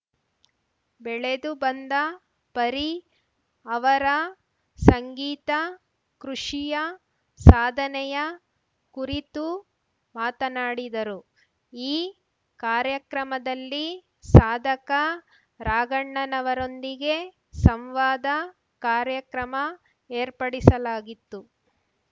ಬೆಳೆದು ಬಂದ ಪರಿ ಅವರ ಸಂಗೀತಕೃಷಿಯ ಸಾಧನೆಯ ಕುರಿತು ಮಾತನಾಡಿದರು ಈ ಕಾರ್ಯಕ್ರಮದಲ್ಲಿ ಸಾಧಕ ರಾಘಣ್ಣನವರೊಂದಿಗೆ ಸಂವಾದ ಕಾರ್ಯಕ್ರಮ ಏರ್ಪಡಿಸಲಾಗಿತ್ತು